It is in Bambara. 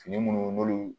Fini minnu n'olu